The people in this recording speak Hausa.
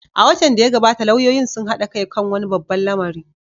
A watan da ya gabata, lauyoyin sun haɗa kai kan wani babban lamari.